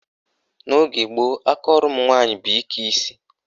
N' ogee gboo, akaọrụ ụmụnwaanyị bụ ike isi.